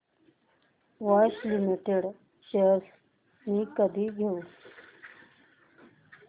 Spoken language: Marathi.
बॉश लिमिटेड शेअर्स मी कधी घेऊ